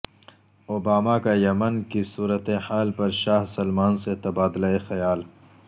Obama کا Yemen کی صورتحال پر شاہ سلمان سے تبادلہ خیال